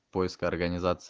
поиск организации